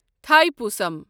تھاےپوسم